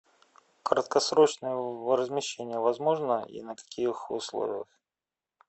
краткосрочное размещение возможно и на каких условиях